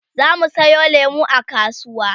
zamu Sayo lemu a kasuwa